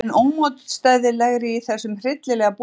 vel enn ómótstæðilegri í þessum hryllilega búningi.